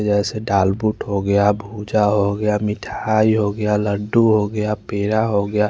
यह से मिठाई हो गया लड्डू हो गया पड़ा हो गया ।